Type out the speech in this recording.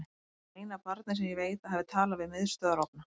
Hann er eina barnið sem ég veit að hafi talað við miðstöðvarofna.